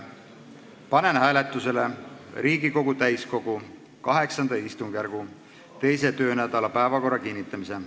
Panen hääletusele Riigikogu täiskogu VIII istungjärgu 2. töönädala päevakorra kinnitamise.